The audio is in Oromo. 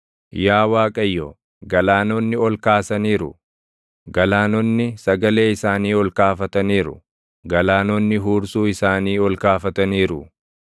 Yaa Waaqayyo, galaanonni ol kaasaniiru; galaanonni sagalee isaanii ol kaafataniiru; galaanonni huursuu isaanii ol kaafataniiru.